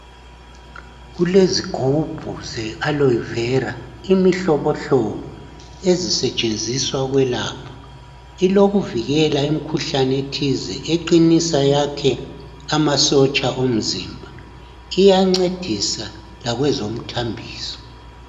Kulezigubhu ze 'Aloe Vera' imihlobohlobo ezisetshenziswa ukwelapha. Ilokuvikela imikhuhlane ethize, eqinisa, yakhe amasotsha omzimba. Iyancedisa lakwezomthambiso.